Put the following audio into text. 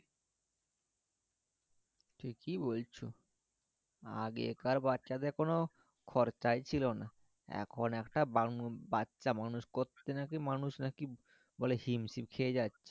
ঠিকই বলছো আগেকার বাচ্ছা দের কোনো খরচাই ছিল না এখন একটা বানু বাচ্ছা মানুষ করতে নাকি মানুষ নাকি বলে হিমশিম খেয়ে যাচ্ছি